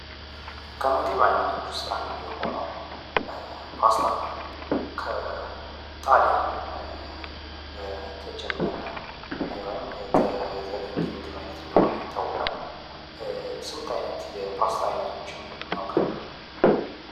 ከምግብ አይነቶች ውስጥ አንዱ የሆነው ፓስታ ከጣልያን የተጀመረ ወይም የተገኘ የምግብ አይነት እንደሆነ ይታወቃል። ስንት አይነት የፓስታ አይነቶችን እናውቃለን?